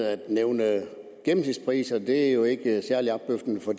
at nævne gennemsnitspriser jo ikke er særlig opløftende for